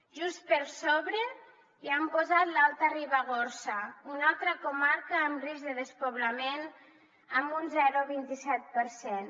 just per sobre hi han posat l’alta ribagorça una altra comarca amb risc de despoblament amb un zero coma vint set per cent